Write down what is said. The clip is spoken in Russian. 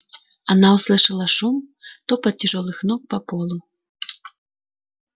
она услышала шум топот тяжёлых ног по полу